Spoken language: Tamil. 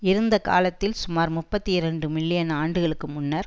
இருந்த காலத்தில் சுமார் முப்பத்தி இரண்டு மில்லியன் ஆண்டுகளுக்கு முன்னர்